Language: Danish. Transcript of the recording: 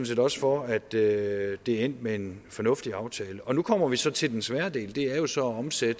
set også for at det er endt med en fornuftig aftale nu kommer vi så til den svære del det er jo så at omsætte